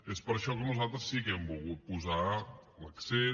és per això que nosaltres sí que hem volgut posar l’accent